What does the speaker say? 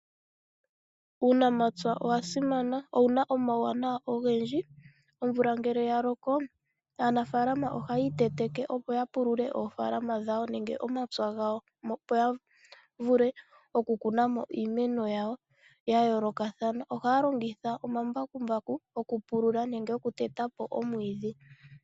Uunamapya owa simana. Owuna omauwanawa ogendji. Omvula ngele ya loko aanafalama ohaya I teteke opo ya pulule oofalama dha wo nenge omapya gawo, opo ya vule oku kuna mo iimeno yawo ya yoo lokathana. Ohaya longitha oma mbakumbaku oku pulula nenge oku teta po omwiidhi.